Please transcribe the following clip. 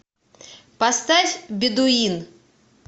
поставь бедуин